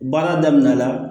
Baara daminɛna